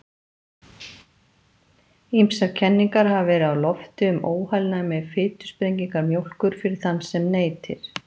Ýmsar kenningar hafa verið á lofti um óheilnæmi fitusprengingar mjólkur fyrir þann sem neytir.